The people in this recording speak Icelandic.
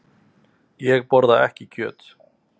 Ég borða ekki kjöt.